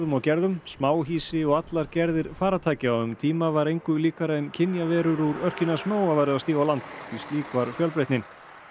og gerðum smáhýsi og allar gerðir farartækja og um tíma var engu líkara en kynjaverur úr örkinni hans Nóa væru að stíga á land slík var fjölbreytnin